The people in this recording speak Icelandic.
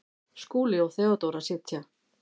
Skúli og Theodóra sitja.